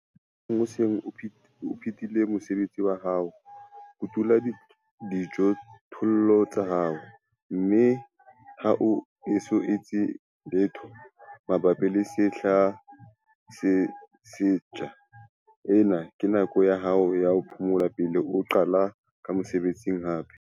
Mohlomong o se o phethile mosebetsi wa ho kotula dijothollo tsa hao, mme ha o eso etse letho mabapi le sehla se setjha. Ena ke nako ya ho phomola pele o qala ka mosebetsi hape.